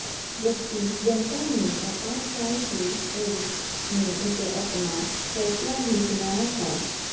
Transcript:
जबकि जनता ने आपातकाल की एवज में उसे अपना फैसला भी सुनाया था